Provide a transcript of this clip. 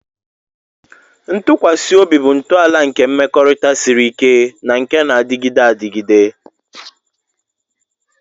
Ntụkwasị obi bụ ntọala nke mmekọrịta siri ike na nke na-adịgide adịgide.